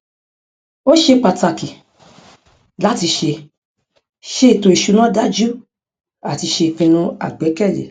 ó ṣe pàtàkì láti ṣe ṣe ètò ìṣúná dájú àti ṣe ìpinnu àgbẹkẹlé